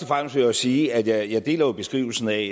fremmest vil jeg sige at jeg jo deler beskrivelsen af